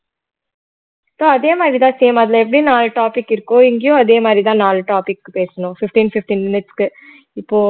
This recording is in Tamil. so அதே மாதிரிதான் same அதுல எப்படி நாலு topic இருக்கோ இங்கேயும் அதே மாதிரிதான் நாலு topic பேசணும் fifteen fifteen minutes க்கு இப்போ